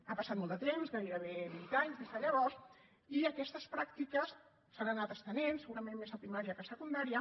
ha passat molt de temps gairebé vint anys des de llavors i aquestes pràctiques s’han anat estenent segurament més a primària que a secundària